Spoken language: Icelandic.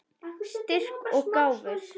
Styrk og gáfur.